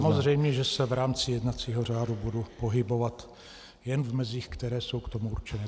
Samozřejmě že se v rámci jednacího řádu budu pohybovat jen v mezích, které jsou k tomu určené.